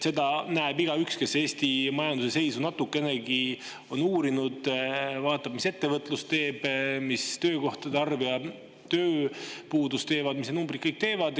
Seda näeb igaüks, kes Eesti majanduse seisu natukenegi on uurinud, vaatab, mis ettevõtlus teeb, mis töökohtade arv ja tööpuudus teevad, mis kõik numbrid teevad.